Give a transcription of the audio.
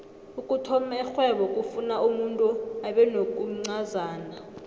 ukuthoma ixhwebo kufuna umuntu abenokuncazana